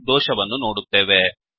ಎಂಬ ದೋಷವನ್ನು ನೋಡುತ್ತೇವೆ